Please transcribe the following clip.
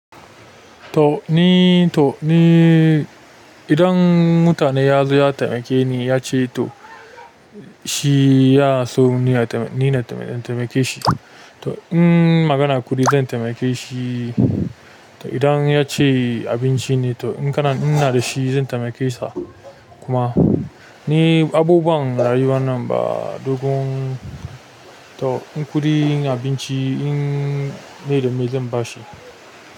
To ni, to ni idan mutane ya zo ya taimake ni yace to shi ya so nina taimake shi. To in magana kuɗi zan taimake shi. To idan ya ce abinci ne to in kana ina da shi zan taimake sa kuma. Ni abubuwan rayuwa nan ba dogon, to in kuɗi, in abinci in dai da me zan bashi?